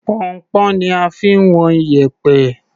Pọnnpọ́n ni a fi ń wọn iyẹ̀pẹ̀.